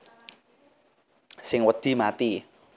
Sing wedi mati